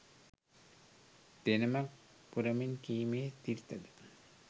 දෙනමක් පුරමින් කීමේ සිරිත ද